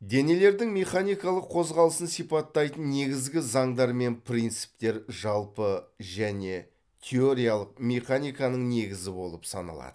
денелердің механикалық қозғалысын сипаттайтын негізгі заңдар мен принциптер жалпы және теориялық механиканың негізі болып саналады